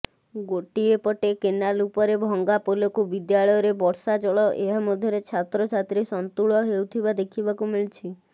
ଗୋଟିଏପଟେ କେନାଲ ଉପରେ ଭଙ୍ଗା ପୋଲକୁ ବିଦ୍ୟାଳୟରେ ବର୍ଷାଜଳ ଏହା ମଧ୍ୟରେ ଛାତ୍ରଛାତ୍ରୀ ସନ୍ତୁଳ ହେଉଥିବା ଦେଖିବାକୁ ମିଳିଛି